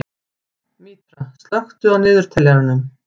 Mítra, slökktu á niðurteljaranum.